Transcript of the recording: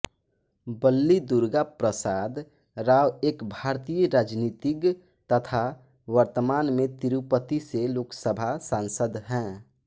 बल्ली दुर्गा प्रसाद राव एक भारतीय राजनीतिज्ञ तथा वर्तमान में तिरुपति से लोकसभा सांसद हैं